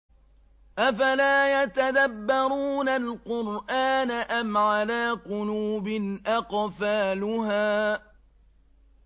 أَفَلَا يَتَدَبَّرُونَ الْقُرْآنَ أَمْ عَلَىٰ قُلُوبٍ أَقْفَالُهَا